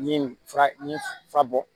Ni fura ɲin fura bɔ